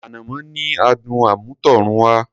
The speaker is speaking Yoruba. Ànàmọ́ ní adùn àmútọ̀runwá.